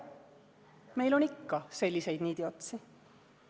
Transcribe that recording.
Meil on ikka selliseid niidiotsi.